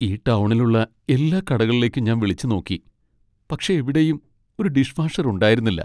ഈ ടൗണിലുള്ള എല്ലാ കടകളിലേക്കും ഞാൻ വിളിച്ചു നോക്കി ,പക്ഷേ എവിടെയും ഒരു ഡിഷ് വാഷർ ഉണ്ടായിരുന്നില്ല.